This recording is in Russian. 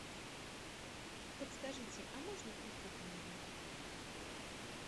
подскажите а можно утюг в номер